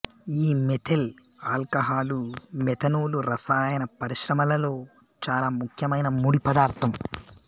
ఈ methyl alcohol methanol రసాయన పరిశ్రమలలో చాల ముఖ్యమైన ముడి పదార్థం